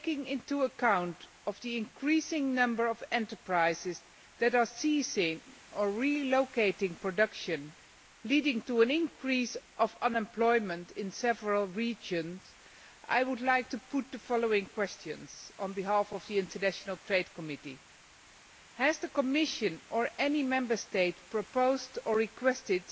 In the light of the growing number of enterprises that are ceasing to operate, or relocating production, leading to an increase of unemployment in several regions, I would like to put the following questions on behalf of the International Trade Committee Has the Commission or any Member State proposed or requested